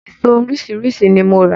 Eso oríṣiríṣi ni mo rà.